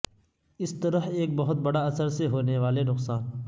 اس طرح ایک بہت بڑا اثر سے ہونے والے نقصان